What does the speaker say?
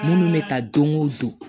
Munnu bɛ taa don o don